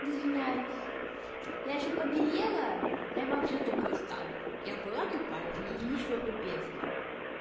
извиняюсь я ещё побелела я вообще тупой стала я была тупая и ещё тупее стала